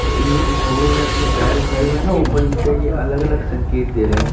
और ये जो घोड़ों ने अपने पैर उठाये हुए हैं न ऊपर इनके ये अलग-अलग संकेत दे रहे हैं।